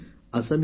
धन्यवाद